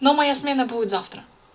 но моя смена будет завтра